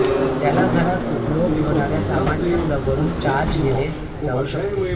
ज्याला घरात उपयोग होणाऱ्या सामान्य प्लगवरून चार्ज गेले जाऊ शकते